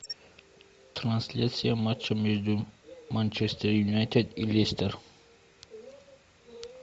трансляция матча между манчестер юнайтед и лестер